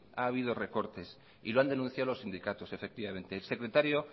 ha habido y recortes y lo han denunciado los sindicatos efectivamente el secretario